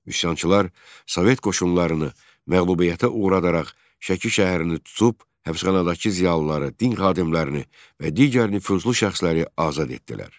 Üsyançılar Sovet qoşunlarını məğlubiyyətə uğradaraq Şəki şəhərini tutub həbsxanadakı ziyalıları, din xadimlərini və digər nüfuzlu şəxsləri azad etdilər.